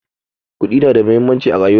Kuɗi na da muhimmanci a rayuwa